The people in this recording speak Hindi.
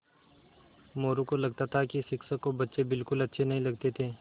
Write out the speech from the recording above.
मोरू को लगता था कि शिक्षक को बच्चे बिलकुल अच्छे नहीं लगते थे